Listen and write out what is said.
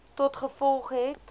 tot gevolg het